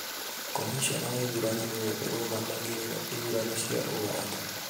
Komishona wa ithurano nĩwe ũrũgamagĩrĩra ithurano cia ũganda